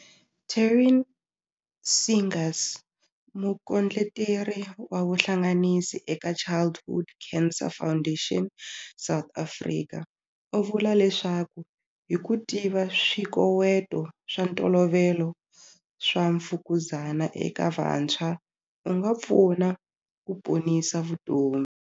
Taryn Seegers, Mukondleteri wa Vuhlanganisi eka Childhood Cancer Foundation South Africa u vula leswaku hi ku tiva swikoweto swa ntolovelo swa mfukuzana eka vantshwa, u nga pfuna ku ponisa vutomi.